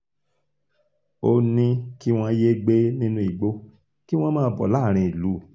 ó ní kí wọ́n yéé gbé nínú igbó kí wọ́n máa bọ̀ láàárín ìlú